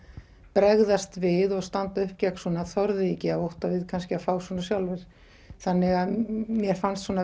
bregðast við og standa uppi gegn svona þorðu því ekki af ótta við kannski að fá svona sjálfir þannig að mér fannst